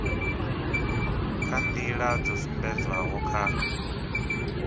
kha nḓila dzo sumbedzwaho kha